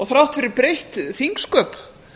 þrátt fyrir breytt þingsköp